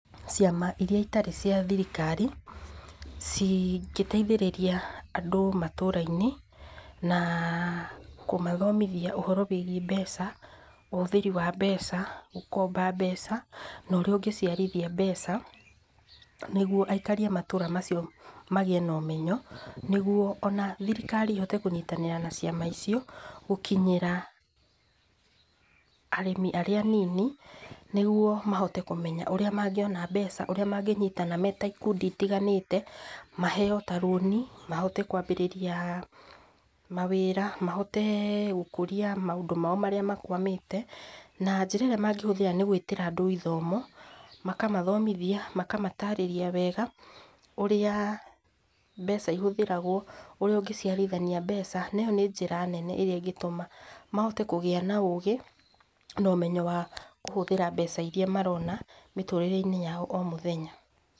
Ciama irĩa itarĩ cia thirikari cingĩteithĩrĩria andũ matũra-inĩ na kũmathomithia ũhoro wĩgiĩ mbeca, ũhũthĩrĩ wa mbeca ,gũkomba mbeca na ũrĩa ũngĩciarithia mbeca nĩgũo aikarĩ a matũra macio magiĩ na ũmenyo nĩgũo ona thirikari ĩhote kũnyitanĩra na ciama icio gũkinyĩra arĩmi arĩa anini nĩgũo mahote kũmenya ũrĩa mangĩona mbeca ũrĩa mangĩnyitana marĩ ikundi itiganĩte maheo ta rũni mahote kwambĩrĩria mawĩra mahote gũkũria maũndũ mao marĩa makwamĩte na njĩra ĩrĩa mangĩhuthĩra nĩ ya gũĩtĩra andũ ithomo makamathomithia makamatarĩrĩa wega ũrĩa mbeca ihũthĩragwo ũrĩa ũngĩciarithania mbeca na ĩyo nĩ njĩra nene ĩrĩa ĩngĩtuma mahote kũgĩa na ũgĩ na ũmenyo wa kũhũthĩra mbeca irĩa marona mĩtũrĩre-inĩ yao o mũthenya.